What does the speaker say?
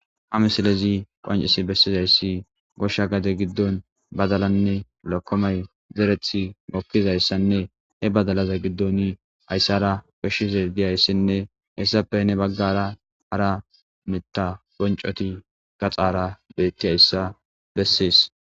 a misilezi qoncisi bessizayssi goshsha gade giddon badalanne lakkomay zerethi mokkizayssanne he badalaza giddon hayssara koshshizey diyayssinne hessappe ne baggara hara mitta boncoti gaxaara beetti hayssa bessees